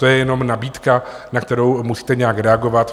To je jenom nabídka, na kterou musíte nějak reagovat.